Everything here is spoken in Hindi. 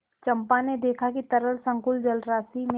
चंपा ने देखा कि तरल संकुल जलराशि में